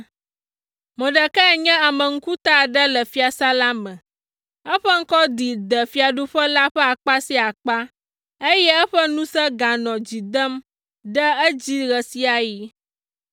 Mordekai nye ame ŋkuta aɖe le fiasã la me, eƒe ŋkɔ ɖi de fiaɖuƒe la ƒe akpa sia akpa, eye eƒe ŋusẽ ganɔ dzi dem ɖe edzi ɣe sia ɣi.